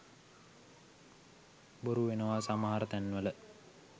බොරු වෙනවා සමහර තැන් වල.